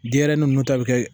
Denɲɛrɛnin ninnu ta bɛ kɛ